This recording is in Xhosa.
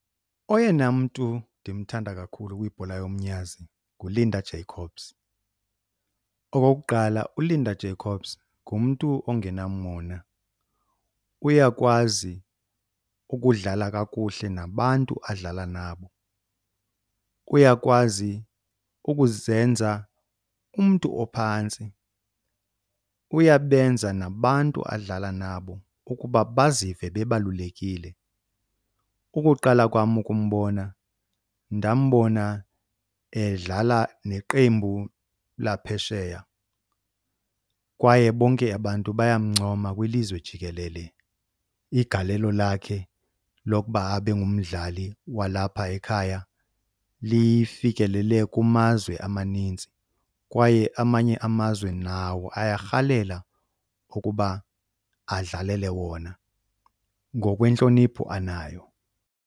Oyena mntu ndimthanda kakhulu kwibhola yomnyazi kuLinda Jacobs. Okokuqala, uLinda Jacobs ngumntu ongenamona, uyakwazi ukudlala kakuhle nabantu adlala nabo. Uyakwazi ukuzenza umntu ophantsi, uyabenza nabantu adlala nabo ukuba bazive bebalulekile. Ukuqala kwam ukumbona ndambona edlala neqembu laphesheya kwaye bonke abantu bayamncoma kwilizwe jikelele igalelo lakhe lokuba abe ngumdlali walapha ekhaya lifikelele kumazwe amaninzi. Kwaye amanye amazwe nawo ayarhalela ukuba adlalele wona ngokwentlonipho anayo.